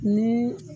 Ni